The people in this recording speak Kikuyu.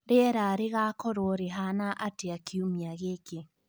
Rĩera rĩgaakorũo rĩhaana atĩa kiumia gĩkĩ